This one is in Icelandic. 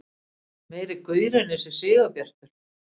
Meiri gaurinn þessi Sigurbjartur!